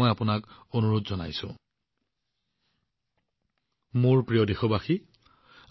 মোৰ মৰমৰ দেশবাসীসকল